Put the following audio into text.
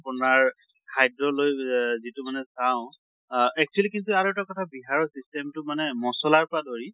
আপোনাৰ খাদ্য় লৈ অহ যিটো মানে চাওঁ আহ actually কিন্তু আৰু এটা কথা বহাৰত system টো মানে মছলাৰ পৰা ধৰি